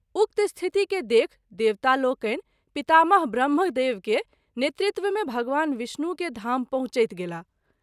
उक्त स्थिति के देखि देवता लोकनि पितामह ब्रह्म देव के नेतृत्व मे भगवान विष्णु के धाम पहुँचैत गेलाह।